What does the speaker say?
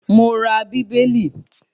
Mo ra Bíbélì